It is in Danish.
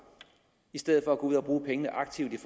i stedet for at gå ud at bruge pengene aktivt